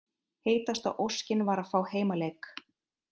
Heitasta óskin var að fá heimaleik